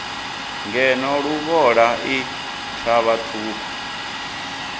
ngeno luvhola i thavha ṱhukhu